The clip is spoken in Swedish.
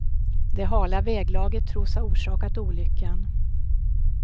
Det hala väglaget tros ha orsakat olyckan.